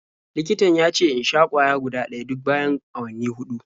Likitan ya ce in sha ƙwaya guda ɗaya duk bayan awanni huɗu.